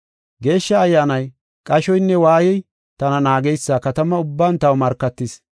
Geeshsha Ayyaanay qashoynne waayey tana naageysa katama ubban taw markatis.